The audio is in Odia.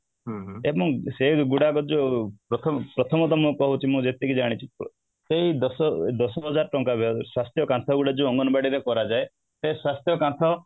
ସେ ଗୁଡାକ ଯୋଉଁ ପ୍ରଥମ ତ ମୁଁ କହୁଛି ମୁଁ ଯେତିକି ଜାଣିଛି ସେଇ ଦଶ ଦଶ ହଜାର ଟଙ୍କା ରୁ ସ୍ୱାସ୍ଥ୍ୟ କାନ୍ଥ ଗୁଡିକ ଯୋଉ ଅଙ୍ଗନବାଡି ରେ କରାଯାଏ ସ୍ୱାସ୍ଥ୍ୟ କାନ୍ଥ